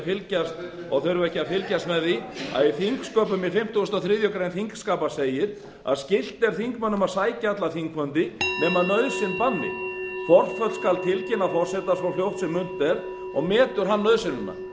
segja og þurfa ekki að fylgjast með því að í fimmtugasta og þriðju greinar þingskapa segir að skylt er þingmönnum að sækja alla þingfundi nema nauðsyn banni forföll skal tilkynna forseta svo fljótt sem unnt